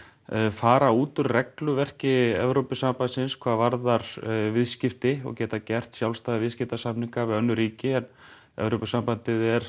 fara út úr regluverki Evrópusambandsins hvað varðar viðskipti og geta gert sjálfstæða viðskiptasamninga við önnur ríki en Evrópusambandið er